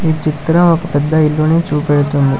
ఈ చిత్రం ఒక పెద్ద ఇల్లుని చూపెడుతుంది